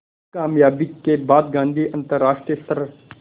इस क़ामयाबी के बाद गांधी अंतरराष्ट्रीय स्तर